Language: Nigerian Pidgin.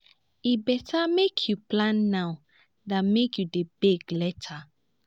e better make you plan now than make you dey beg later.